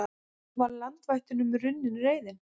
Var landvættunum runnin reiðin?